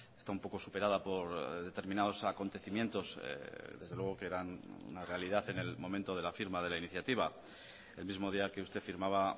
está un poco superada por determinados acontecimientos desde luego que eran una realidad en el momento de la firma de la iniciativa el mismo día que usted firmaba